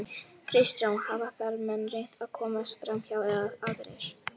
Kristján: Hafa ferðamenn reynt að komast framhjá eða aðrir?